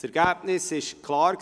Das Ergebnis war klar.